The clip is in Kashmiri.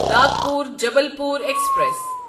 ناگپور جبلپور ایکسپریس